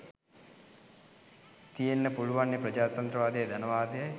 තියෙන්න පුළුවන්නෙ ප්‍රජාතන්ත්‍රවාදයයි ධනවාදයි